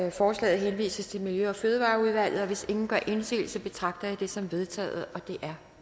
at forslaget henvises til miljø og fødevareudvalget og hvis ingen gør indsigelse betragter jeg det som vedtaget det er